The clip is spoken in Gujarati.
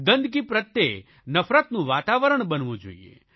ગંદકી પ્રત્યે નફરતનું વાતાવરણ બનવું જોઇએ